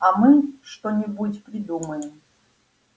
а мы что-нибудь придумаем